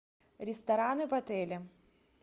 рестораны в отеле